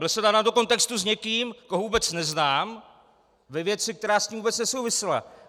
Byl jsem dán do kontextu s někým, koho vůbec neznám, ve věci, která s ním vůbec nesouvisela.